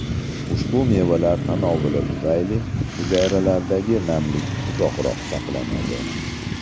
Ushbu mevalar tanovuli tufayli hujayralardagi namlik uzoqroq saqlanadi.